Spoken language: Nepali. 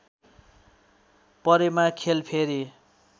परेमा खेल फेरि